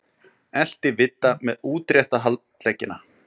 Elti Vidda með útrétta handleggina.